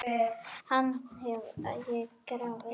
Hann hef ég grafið.